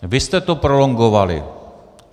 Vy jste to prolongovali.